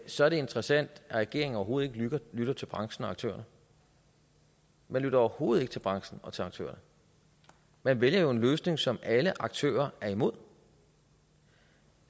så er det interessant at regeringen overhovedet ikke lytter til branchen og aktørerne man lytter overhovedet ikke til branchen og til aktørerne man vælger jo en løsning som alle aktører er imod